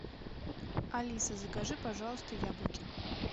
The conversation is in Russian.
алиса закажи пожалуйста яблоки